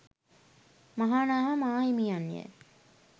මහානාම මාහිමියන් ය.